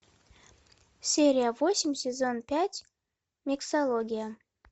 серия восемь сезон пять миксология